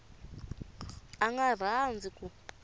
a a nga rhandzi ku